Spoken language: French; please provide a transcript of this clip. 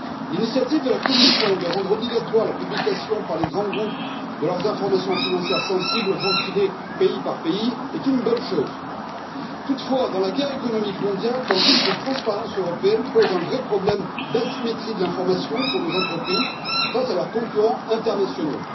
L'initiative de la Commission de rendre obligatoire la publication par les grands groupes de leurs informations financières sensibles, ventilées pays par pays, est une bonne chose. Toutefois, dans la guerre économique mondiale, cette transparence européenne pose un vrai problème d'asymétrie de l'information pour nos entreprises face à leurs concurrents internationaux.